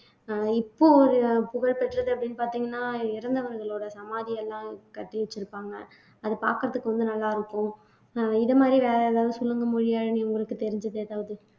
அஹ் இப்போ ஒரு புகழ்பெற்றது அப்படின்னு பாத்தீங்கன்னா இறந்தவங்களோட சமாதி எல்லாம் கட்டி வச்சிருப்பாங்க அது பாக்குறதுக்கு வந்து நல்லா இருக்கும் அஹ் இது மாதிரி வேற ஏதாவது சொல்லுங்க மொழியாழினி உங்களுக்கு தெரிஞ்சது ஏதாவது